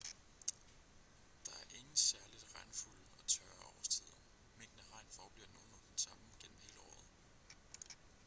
der er ingen særligt regnfulde og tørre årstider mængden af regn forbliver nogenlunde den samme gennem hele året